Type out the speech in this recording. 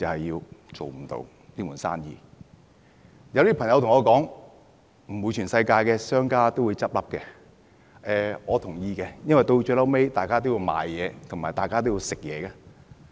有些朋友對我說，不可能全世界的商家都倒閉，我也同意這點，因為大家最後都要買東西、要飲食。